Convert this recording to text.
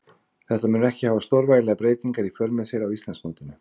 Þetta mun ekki hafa stórvægilegar breytingar í för með sér á Íslandsmótinu.